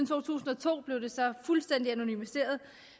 to tusind og to blev det så fuldstændig anonymiseret